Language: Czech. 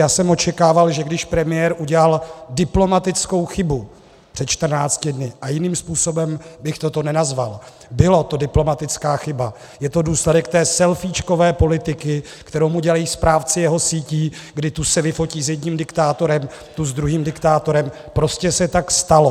Já jsem očekával, že když premiér udělal diplomatickou chybu před 14 dny - a jiným způsobem bych toto nenazval, byla to diplomatická chyba, je to důsledek té selfíčkové politiky, kterou mu dělají správci jeho sítí, kdy tu se vyfotí s jedním diktátorem, tu s druhým diktátorem, prostě se tak stalo.